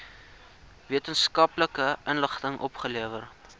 wetenskaplike inligting opgelewer